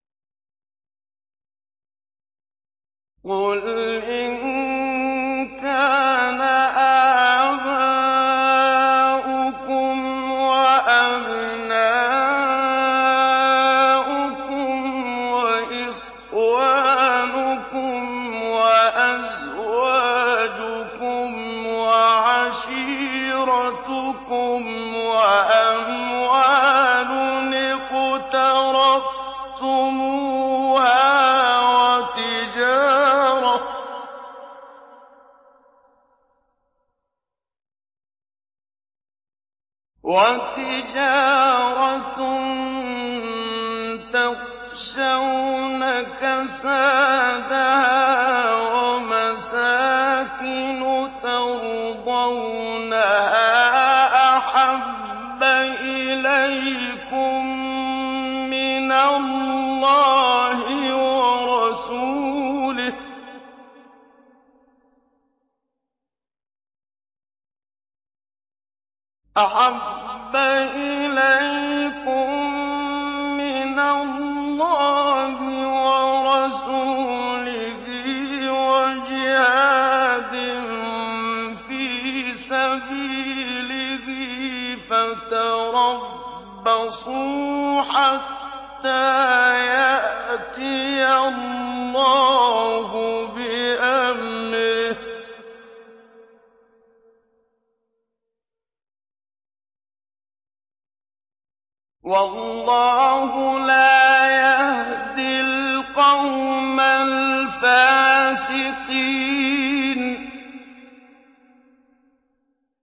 قُلْ إِن كَانَ آبَاؤُكُمْ وَأَبْنَاؤُكُمْ وَإِخْوَانُكُمْ وَأَزْوَاجُكُمْ وَعَشِيرَتُكُمْ وَأَمْوَالٌ اقْتَرَفْتُمُوهَا وَتِجَارَةٌ تَخْشَوْنَ كَسَادَهَا وَمَسَاكِنُ تَرْضَوْنَهَا أَحَبَّ إِلَيْكُم مِّنَ اللَّهِ وَرَسُولِهِ وَجِهَادٍ فِي سَبِيلِهِ فَتَرَبَّصُوا حَتَّىٰ يَأْتِيَ اللَّهُ بِأَمْرِهِ ۗ وَاللَّهُ لَا يَهْدِي الْقَوْمَ الْفَاسِقِينَ